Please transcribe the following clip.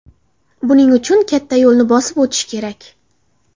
Buning uchun katta yo‘lni bosib o‘tish kerak.